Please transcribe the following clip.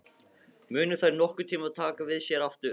Munu þær nokkurntíma taka við sér aftur?